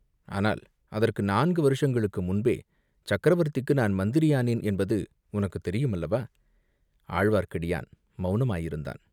ஆனால் அதற்கு நாலு வருஷங்களுக்கு முன்பே சக்கரவர்த்திக்கு நான் மந்திரியானேன் என்பது உனக்குத் தெரியும் அல்லவா?" ஆழ்வார்க்கடியான் மௌனமாயிருந்தான்.